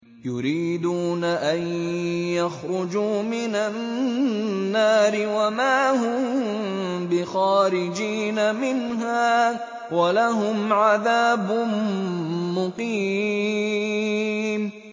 يُرِيدُونَ أَن يَخْرُجُوا مِنَ النَّارِ وَمَا هُم بِخَارِجِينَ مِنْهَا ۖ وَلَهُمْ عَذَابٌ مُّقِيمٌ